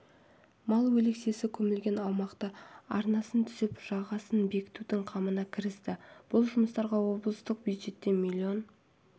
мал өлексесі көмілген аумақтың арнасын түзеп жағасын бекітудің қамына кірісті бұл жұмыстарға облыстық бюджеттен миллион